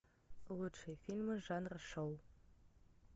лучшие фильмы жанра шоу